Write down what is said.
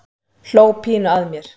Hló pínu að mér.